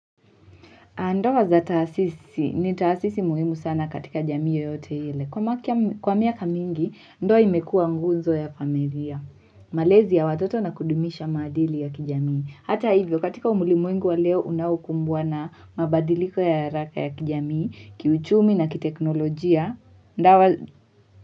Ndoa za taasisi, ni taasisi muhimu sana katika jamii yoyote ile. Kwa miaka mingi, ndoa imekua nguzo ya familia, malezi ya watoto na kudumisha maadili ya kijamii. Hata hivyo, katika ulimwengu wa leo, unaokumbwa na mabadiliko ya haraka ya kijamii, kiuchumi na kiteknolojia.